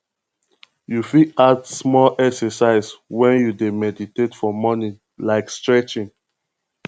you fit add small exercise when you dey meditate for morning like stretching